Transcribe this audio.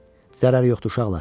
Zərəri yoxdur uşaqlar.